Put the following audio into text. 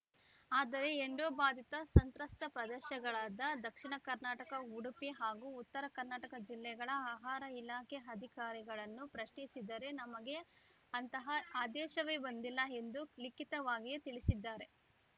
ಆದರೆ ಎಂಡೋಬಾಧಿತ ಸಂತ್ರಸ್ತ ಪ್ರದಶಗಳಾದ ದಕ್ಷೀಣ ಕರ್ನಾಟಕ ಉಡುಪಿ ಹಾಗೂ ಉತ್ತರ ಕನ್ನಡ ಜಿಲ್ಲೆಗಳ ಆಹಾರ ಇಲಾಖೆ ಅಧಿಕಾರಿಗಳನ್ನು ಪ್ರಶ್ನಿಸಿದರೆ ನಮಗೆ ಅಂತಹ ಆದೇಶವೇ ಬಂದಿಲ್ಲ ಎಂದು ಲಿಖಿತವಾಗಿಯೇ ತಿಳಿಸಿದ್ದಾರೆ